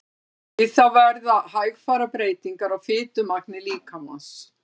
Við það verða hægfara breytingar á fitumagni líkamans.